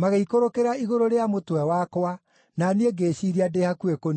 magĩikũrũkĩra igũrũ rĩa mũtwe wakwa, na niĩ ngĩĩciiria ndĩ hakuhĩ kũniinwo.